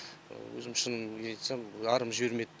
өзім шынымды айтсам арым жібермеді